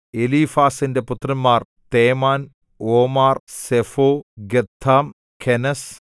എലീഫാസിന്റെ പുത്രന്മാർ Teman Omar Zepho Gatam കെനസ്